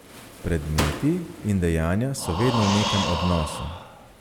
Predmeti in dejanja so vedno v nekem odnosu.